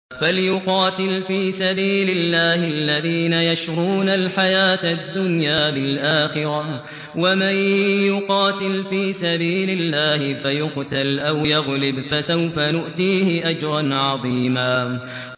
۞ فَلْيُقَاتِلْ فِي سَبِيلِ اللَّهِ الَّذِينَ يَشْرُونَ الْحَيَاةَ الدُّنْيَا بِالْآخِرَةِ ۚ وَمَن يُقَاتِلْ فِي سَبِيلِ اللَّهِ فَيُقْتَلْ أَوْ يَغْلِبْ فَسَوْفَ نُؤْتِيهِ أَجْرًا عَظِيمًا